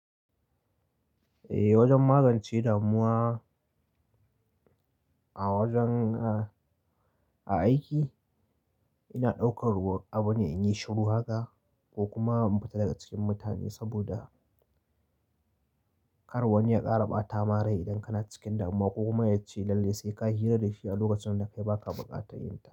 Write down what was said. Eh wajen magance damuwa a wajen a aiki ina ɗaukar ruwa abu na in yi shiru haka ko kuma in fita daga cikin mutane saboda kar wani ya ƙara ɓata ma rai idan kana cikin damuwa ko kuma yace lalle sai kayi hira da shi a lokacin da kai baka buƙatar yin ta.